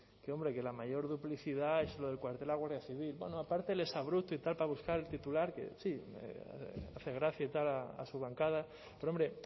que la mayor duplicidad es el cuartel de la guardia civil bueno aparte el exabrupto y tal para buscar el titular que sí hace gracia y tal a su bancada pero hombre